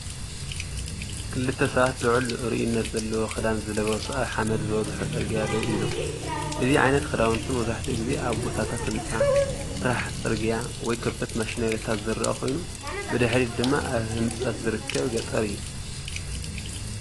ክልተ ሰባት ልዑል ርኡይነት ዘለዎ ክዳን ዝለበሱ ኣብ ሓመድ ዝበዝሖ ጽርግያ ደው ኢሎም። እዚ ዓይነት ክዳውንቲ መብዛሕትኡ ግዜ ኣብ ቦታታት ህንጻ፡ ስራሕ ጽርግያ ወይ ከበድቲ ማሽነሪታት ዝረአ ኮይኑ፡ ብድሕሪት ድማ ኣብ ህንጸት ዝርከብ ገጠር እዩ።